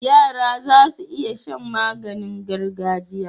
Yara zasu iya Shan maganin gargajiya